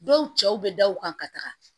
Dɔw cɛw bɛ da u kan ka taga